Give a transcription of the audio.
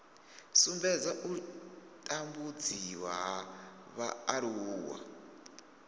sumbedza u tambudziwa ha vhaaluwa